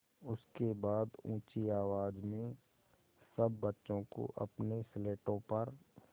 उसके बाद ऊँची आवाज़ में सब बच्चों को अपनी स्लेटों पर